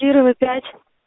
кирова пять